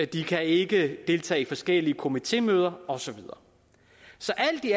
de kan ikke deltage i forskellige komitémøder og så videre så alt i